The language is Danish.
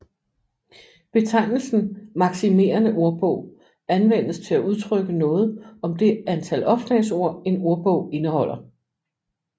Betegnelsen maksimerende ordbog anvendes til at udtrykke noget om det antal opslagsord en ordbog indeholder